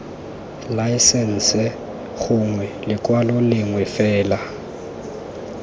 laesense gongwe lekwalo lengwe fela